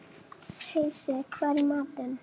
Heisi, hvað er í matinn?